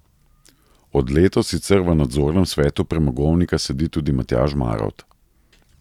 Od letos sicer v nadzornem svetu premogovnika sedi tudi Matjaž Marovt.